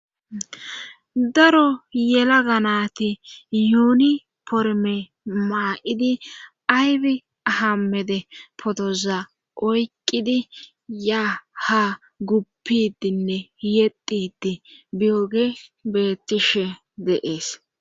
Daro yela ganati yuuni porme maa'idi ayfi hammede potoza oyqqidi ya ha guppidinne yedidi biyoge bettishe deees.